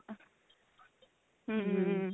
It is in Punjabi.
hm